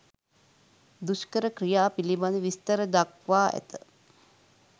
දුෂ්කර ක්‍රියා පිළිබඳ විස්තර දක්වා ඇත.